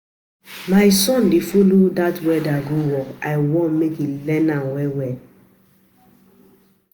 My son dey follow dat welder go um work. I wan um make im learn am um